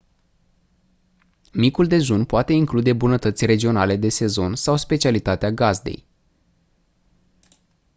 micul dejun poate include bunătăți regionale de sezon sau specialitatea gazdei